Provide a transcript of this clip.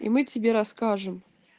и мы тебе расскажем